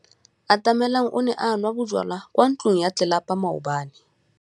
Atamelang o ne a nwa bojwala kwa ntlong ya tlelapa maobane.